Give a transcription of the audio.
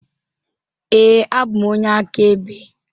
Ee, abụ m onye akaebe.